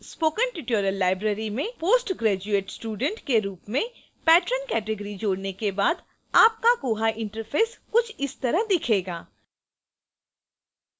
spoken tutorial library में post graduate student के रूप में patron category जोड़ने के बाद आपका koha interface कुछ इस तरह दिखेगा